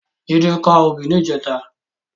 Jide ká óbì nijètá